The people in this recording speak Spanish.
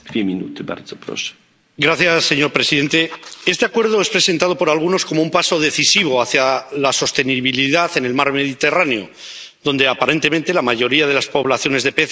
Señor presidente, este acuerdo es presentado por algunos como un paso decisivo hacia la sostenibilidad en el mar Mediterráneo, donde, aparentemente, la mayoría de las poblaciones de peces están sobreexplotadas.